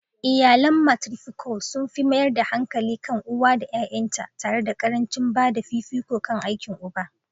Iyalan matrifocal sun fi mayar da hankali kan uwa da ƴaƴanta, tare da ƙarancin ba da fifiko kan aikin uba.